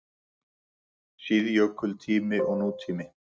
SÍÐJÖKULTÍMI OG NÚTÍMI